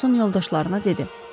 Ferquson yoldaşlarına dedi.